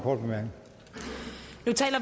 og